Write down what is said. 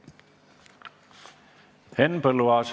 Henn Põlluaas.